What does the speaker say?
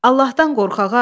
Allahdan qorx, ağa.